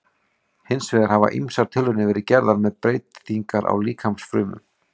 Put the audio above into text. Hins vegar hafa ýmsar tilraunir verið gerðar með breytingar á líkamsfrumum.